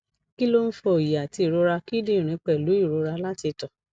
kí ló ń fa oyi ati irora kidinrin pelu irora lati to